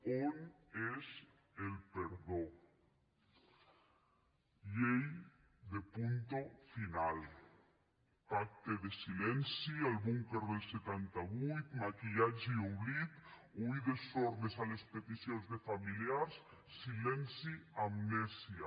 on és el perdó llei de punto final pacte de silenci al búnquer del setanta vuit maquillatge i oblit oïdes sordes a les peticions de familiars silenci amnèsia